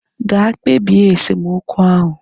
Ga kpebie esemokwu ahu!